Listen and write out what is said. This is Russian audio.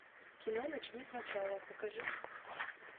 кино начни сначала покажи